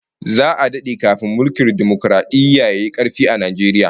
Za'a dade kafin mulkin dimokaradiyya yayi karfi a Najeriya